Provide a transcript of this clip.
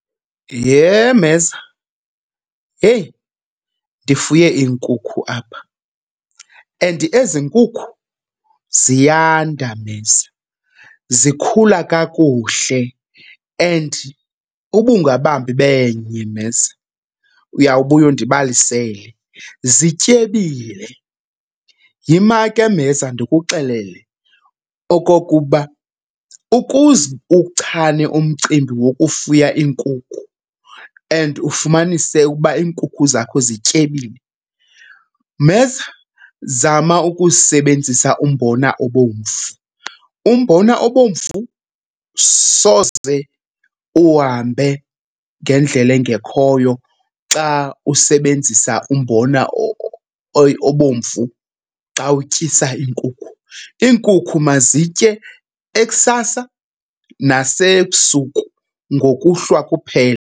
Yhe, mheza! Heyi, ndifuye iinkukhu apha and ezi nkukhu ziyanda, mheza, zikhula kakuhle. And uba ungabamba ibenye mheza, uyawubuya undibalisele, zityebile. Yima ke, mheza, ndikuxelele okokuba ukuze uwuchane umcimbi wokufuya iinkukhu and ufumanise ukuba iinkukhu zakho zityebile, mheza, zama ukusebenzisa umbona obomvu. Umbona obomvu soze uhambe ngendlela engekhoyo xa usebenzisa umbona obomvu xa utyisa iinkukhu. Iinkukhu mazitye ekusasa nasebusuku, ngokuhlwa, kuphela.